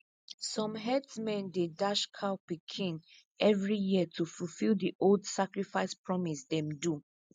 some herdsmen dey dash cow pikin every year to fulfill the old sacrifice promise them do